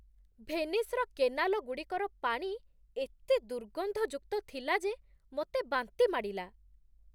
ଭେନିସ୍‌ର କେନାଲଗୁଡ଼ିକର ପାଣି ଏତେ ଦୁର୍ଗନ୍ଧଯୁକ୍ତ ଥିଲା ଯେ ମୋତେ ବାନ୍ତି ମାଡ଼ିଲା।